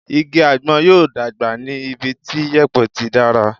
Igi àgbọn yóò dàgbà ní ibi tí yèpẹ̀ tí dára.